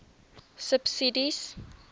subsidies